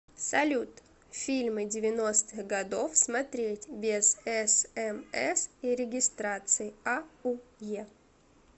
салют фильмы девяностых годов смотреть без эс эм эс и регистрации а у е